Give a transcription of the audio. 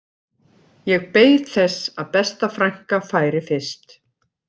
Ég beið þess að besta frænka færi fyrst